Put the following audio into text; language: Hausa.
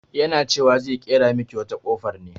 Yana cewa zai ƙera miki wata kofar ne.